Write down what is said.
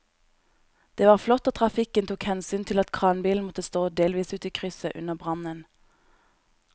Det var flott at trafikken tok hensyn til at kranbilen måtte stå delvis ute i krysset under brannen.